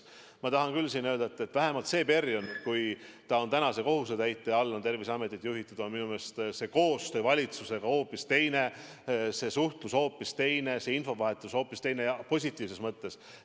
Ma tahan küll öelda, et vähemalt see periood, kui tänane kohusetäitja on Terviseametit juhtinud, on minu meelest koostöö valitsusega hoopis teine, suhtlus hoopis teine, infovahetus hoopis teine ja positiivses mõttes.